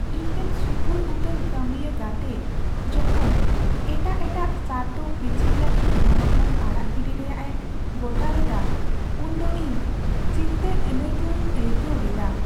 ᱤᱧᱨᱮᱱ ᱥᱩᱯᱩᱨ ᱩᱛᱟᱹᱨ ᱠᱟᱹᱢᱤᱭᱟᱹ ᱜᱟᱛᱮ ᱡᱚᱠᱷᱚᱱ ᱮᱴᱟᱜ ᱮᱴᱟᱜ ᱥᱟᱨᱛᱷᱚ ᱯᱤᱪᱷᱟᱹᱭ ᱞᱟᱹᱜᱤᱫ ᱜᱚᱱᱚᱴᱷᱚᱱ ᱟᱲᱟᱜ ᱜᱤᱰᱤ ᱨᱮᱭᱟᱜᱼᱮ ᱜᱚᱴᱟ ᱞᱮᱫᱟ ᱩᱱᱫᱚ ᱤᱧ ᱪᱤᱱᱛᱟᱹ ᱟᱹᱱᱟᱹᱭᱠᱟᱹᱣᱤᱧ ᱟᱹᱭᱠᱟᱹᱣ ᱞᱮᱫᱟ ᱾